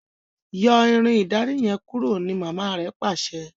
Yọ Irin ìdarí yen kúrò! ní mama rẹ pàṣẹ.